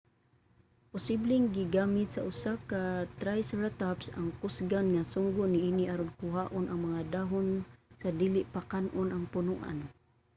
posibleng gigamit sa usa ka triceratops ang kusgan nga sungo niini aron kuhaon ang mga dahon sa dili pa kan-on ang punoan